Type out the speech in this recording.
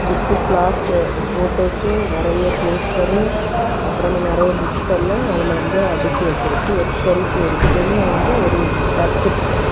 Book last photos நிறைய poster அப்புறமா நிறைய புக்ஸ் எல்லாம் அதுல வந்து அடுக்கி வச்சிருக்கு ஒரு செல்ப் இருக்கு வெளிய வந்து ஒரு டஸ்ட் பின் இருக்கு.